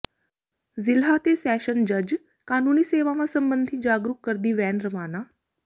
ਜ਼ਿਲ੍ਹਾ ਤੇ ਸੈਸ਼ਨ ਜੱਜ ਕਾਨੂੰਨੀ ਸੇਵਾਵਾਂ ਸਬੰਧੀ ਜਾਗਰੂਕ ਕਰਦੀ ਵੈਨ ਰਵਾਨਾ